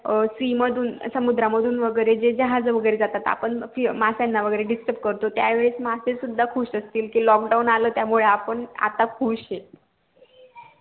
अं sea मधून समुद्रा मधून वैगेरे जे जहाजे जातात आपण माश्याना वैगेरे disturb करतो त्या वेळी मशे सुद्धा खुश असतील कि lockdown आलं त्यामुळे आपण खुश ये